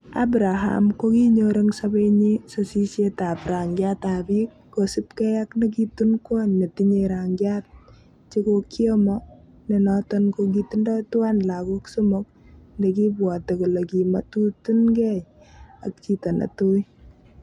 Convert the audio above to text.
Abraham ko kinyor en sobenyin sosisietab rangiat ab bik, kosiibge ak nekitun kwony netinye rangi chekokiomo, nenoton ko kitindo tuan logok somok, nekibwote kole kimototunigei ak chito ne tui.